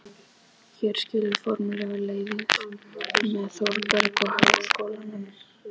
Hér skilur formlega leiðir með Þórbergi og Háskólanum.